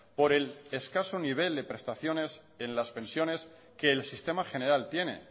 por el escaso nivel de prestaciones en las pensiones que el sistema general tiene